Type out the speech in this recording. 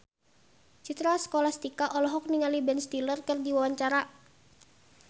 Citra Scholastika olohok ningali Ben Stiller keur diwawancara